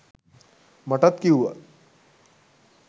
මටත් කිව්වා